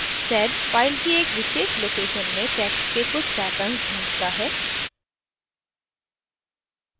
sed file की एक विशेष location में text के कुछ पैटर्न्स ढूँढता है